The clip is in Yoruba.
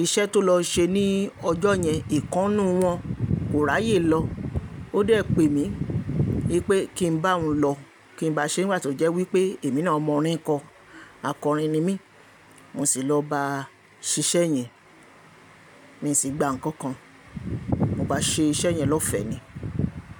Iṣẹ́ tó lọ ṣe ní ọjọ́ yẹn ìkan nu wọn kò ráyè lọ. Ó dẹ̀ pè mí pé kí n bá òun lọ, kí n bá a ṣe nígbà tó jẹ́ wípé èmi náà mọ orin kọ. Akọrin ni mí. Mo sì lọ bá a ṣíṣe yẹn. Mi sì gba ǹkan kan. Mo bá ṣe iṣẹ́ yẹn lọ́fẹ́ ni.